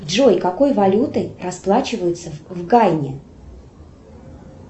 джой какой валютой расплачиваются в гайне